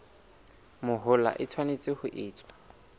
mahola e tshwanetse ho etswa